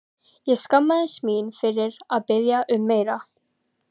Ég skammaðist mín fyrir að biðja um meira.